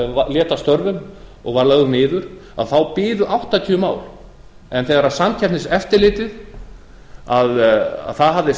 lét af störfum og var lögð niður þá biðu áttatíu mál en þegar samkeppniseftirlitið hafði